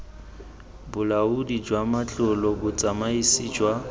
bolaodi jwa matlole botsamaisi jwa